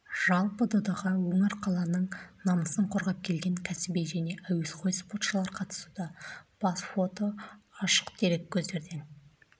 жалпы додаға өңір қаланың намысын қорғап келген кәсіби және әуесқой спортшылар қатысуда бас фото ашық дереккөздерден